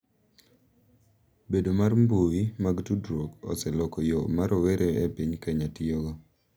Bedo mar mbui mag tudruok oseloko yo ma rowere e piny Kenya tiyogo .